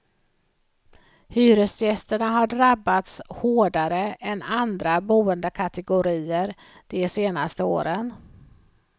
Hyresgästerna har drabbats hårdare än andra boendekategorier de senaste åren.